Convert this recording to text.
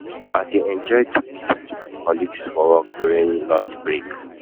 I dey enjoy to eat with my colleagues for work during lunch break.